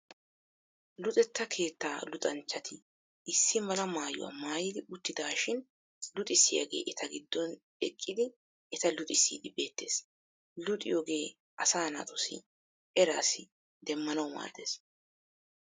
Luxetta keetta luxanchchati issi mala maayuwaa maayidi uttidaashin luxissiyaagee eta giddon eqqidi eta luxissiiddi beettes. Luxiyogee asaa naatussi eras demmanawu maaddes.